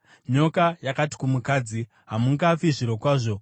Nyoka yakati kumukadzi, “Hamungafi zvirokwazvo.